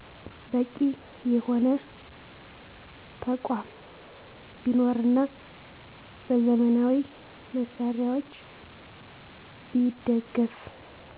በቂ የሆነ ተቆም ቢኖርና በዘመናዊ መሳሪያወች ቢደገፋ